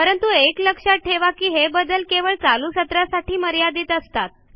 परंतु एक लक्षात ठेवा की हे बदल केवळ चालू सत्रासाठी मर्यादित असतात